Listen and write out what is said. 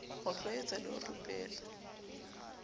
ho tlwaetsa le ho rupela